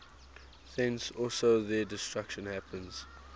thence also their destruction happens